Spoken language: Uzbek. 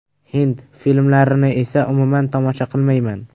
Hind filmlarini esa umuman tomosha qilmayman.